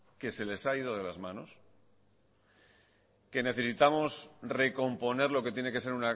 que se les ha ido de las manos que necesitamos recomponer lo que tiene que ser